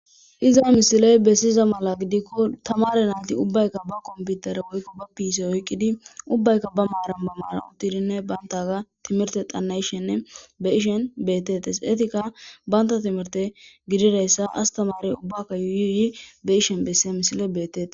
Hiza misiley bessiza mala gidikko tamare nalti ubbaykka ba kombutare woykka ba piise oykqidi ubbaykka ba maarambamara uttidinne banta ga timirte xanna ishenne be ishen beetettes eetikka baynta timirte gididayssa astamare ubbakka yuyuyi be ishen besse misile beetete.